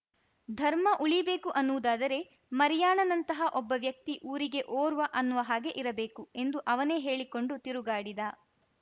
ಧರ್ಮ ಉಳೀಬೇಕು ಅನ್ನುವುದಾದರೆ ಮರಿಯಾಣನಂತಹ ಒಬ್ಬ ವ್ಯಕ್ತಿ ಊರಿಗೆ ಓರ್ವ ಅನ್ನುವ ಹಾಗೆ ಇರಬೇಕು ಎಂದು ಅವನೇ ಹೇಳಿ ಕೊಂಡು ತಿರುಗಾಡಿದ